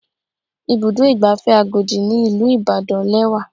Ibùdó ìgbafẹ́ Agodi ní ìlú Ìbàdàn lẹ́wà.